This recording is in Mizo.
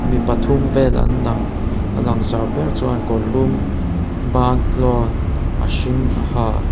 mi pathum vel an lang a langsar ber chuan kawrlum bantlawn a hring a ha.